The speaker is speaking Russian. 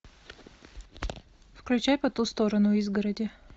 включай по ту сторону изгороди